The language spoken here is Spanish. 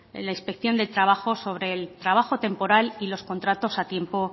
la inspección de trabajo sobre el trabajo temporal y los contratos a tiempo